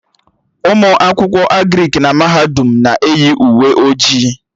Ụmụ akwụkwọ Agrịk nọ na mahadum m na-eyi uwe ojii